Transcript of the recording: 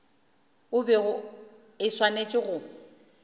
e bego e swanetše go